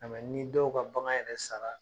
ni dɔw ka bagan yɛrɛ sara